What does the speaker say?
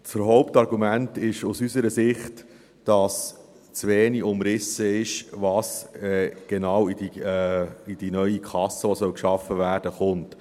Das Hauptargument ist aus unserer Sicht, dass zu wenig umrissen ist, was genau in diese neue Kasse kommt, die geschaffen werden soll.